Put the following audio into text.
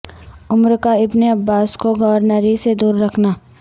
عمر کا ابن عباس کو گورنری سے دور رکھنا